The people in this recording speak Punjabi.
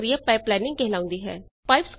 ਇਹ ਪ੍ਰਕਿਰਿਆ ਪਾਈਪਲਾਈਨਿੰਗ ਕਹਾਉਂਦੀ ਹੈ